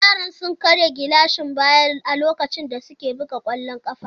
Yaran sun karya gilashin baya a lokacin da suke buga kwallon kafa.